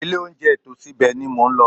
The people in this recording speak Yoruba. Ilé-olóunjẹ tòsí ibẹ̀ ni mò ń lọ.